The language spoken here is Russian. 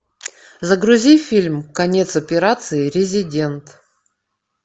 загрузи фильм конец операции резидент